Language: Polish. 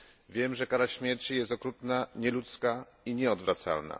Wiem, że kara śmierci jest okrutna, nieludzka i nieodwracalna.